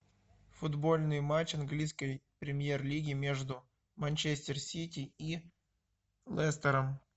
футбольный матч английской премьер лиги между манчестер сити и лестером